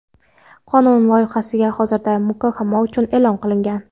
Qonun loyihasi hozirda muhokama uchun e’lon qilingan.